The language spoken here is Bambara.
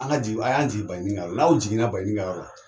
An ka jigin, a y'an jigin Baɲini ka yɔrɔ la, n'aw jiginna Baɲini ka yɔrɔ la